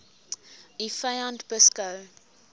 u vyand beskou